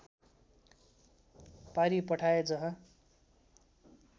पारि पठाए जहाँ